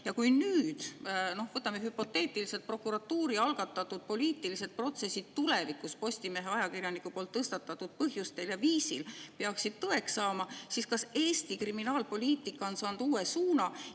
Ja kui nüüd – no võtame hüpoteetiliselt – prokuratuuri algatatud poliitilised protsessid tulevikus Postimehe ajakirjaniku poolt tõstatatud põhjustel ja viisil peaksid tõeks saama, siis kas Eesti kriminaalpoliitika on saanud uue suuna?